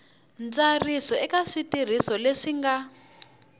ntsariso eka switirhiso leswi nga